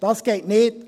Das geht nicht.